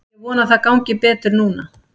Ég vona að það gangi betur núna.